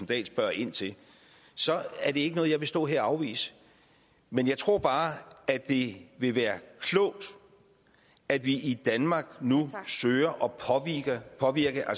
dahl spørger ind til så er det ikke noget jeg vil stå her og afvise men jeg tror bare at det vil være klogt at vi i danmark nu søger at påvirke